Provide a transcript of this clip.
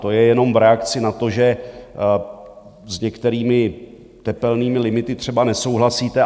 To je jenom v reakci na to, že s některými tepelnými limity třeba nesouhlasíte.